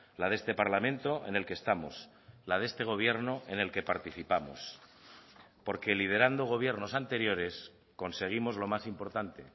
la de este parlamento en el que estamos la de este gobierno en el que participamos porque liderando gobiernos anteriores conseguimos lo más importante